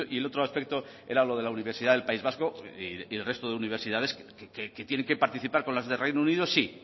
el otro aspecto era lo de la universidad del país vasco y el resto de universidades que tienen que participar con las de reino unido sí